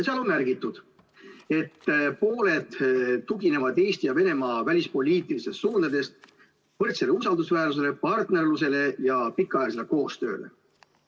Seal on märgitud, et pooled tuginevad Eesti ja Venemaa välispoliitilistes suundades võrdsele usaldusväärsusele, partnerlusele ja pikaajalisele koostööle.